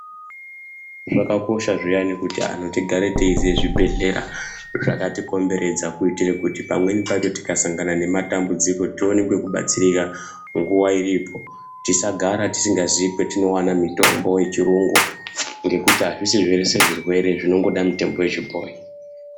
Zvakakosha zviyani kuti anhu tigare teiziye zvibhehleya zvakatikomberedza kuitire kuti pamweni pacho tikasangana nematambudziko tione kwekubatsirika nguwa iripo tisagara tizingazi kwatinowana mitombo yechirungu ngekuti hazvisi zvese zvirwere zvinongoda mitombo yechibhoyi.